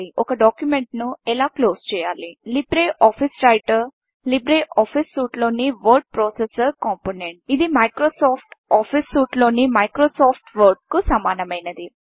రైటర్లో ఒక డాక్యుమెంట్ను ఎలా క్లోజ్ చేయాలి Libre Office Writer Libre Office సూట్లోని వర్డ్ ప్రాసెసర్ కాంపోనెంట్ ఇది మైక్రోసాఫ్ట్ ఆఫీస్ సూట్లోని మైక్రోసాఫ్ట్ వర్డ్ కు సమానమైనది